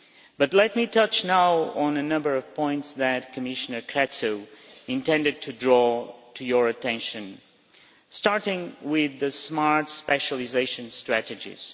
But let me touch now on a number of points that Commissioner Crețu intended to draw to your attention, starting with the smart specialisation strategies.